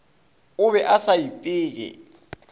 o be a sa ipeye